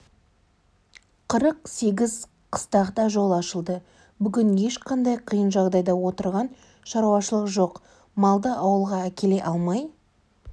қырық сегіз қыстақта жол ашылды бүгін ешқандай қиын жағдайда отырған шаруашылық жоқ малды ауылға әкеле алмай